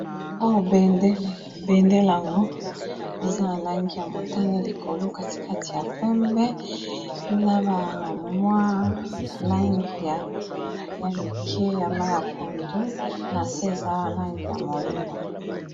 Oyo bendele, bendele yango eza na langi ya motane likolo katikati ya pembe na ba mwa langi ya moke ya mayi ya pondu na se eza na langi ya moyindo.